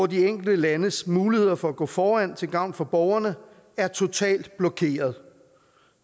de enkelte landes muligheder for at gå foran til gavn for borgerne er totalt blokeret